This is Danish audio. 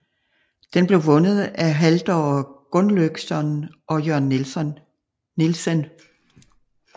Den blev vundet af Halldor Gunnløgsson og Jørn Nielsen